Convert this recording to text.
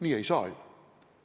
Nii ei saa ju!